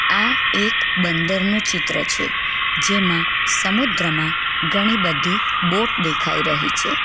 આ એક બંદર નું ચિત્ર છે જેમાં સમુદ્રમાં ઘણી બધી બોટ દેખાઈ રહી છે.